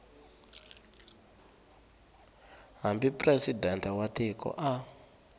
hambi presidente wa tiko a